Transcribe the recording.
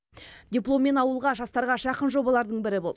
дипломмен ауылға жастарға жақын жобалардың бірі болды